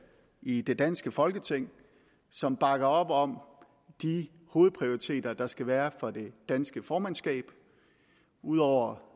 i det danske folketing som bakker op om de hovedprioriteter der skal være for det danske formandskab ud over